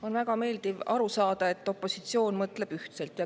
On väga meeldiv aru saada, et opositsioon mõtleb ühtselt.